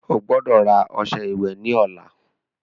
Ogbọ́dọ̀ rà ọṣẹ ìwẹ̀ ní ọ̀la